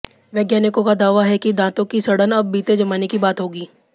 वैज्ञानिकों का दावा है कि दांतों की सड़न अब बीते जमाने की बात होगी